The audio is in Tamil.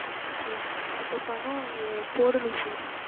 okay sir இப்போ பணம் போடணும் sir